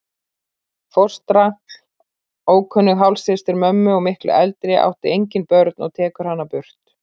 Fóstra, ókunnug hálfsystir mömmu og miklu eldri, átti engin börnin og tekur hana burt.